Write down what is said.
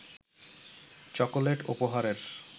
chocolate উপহারের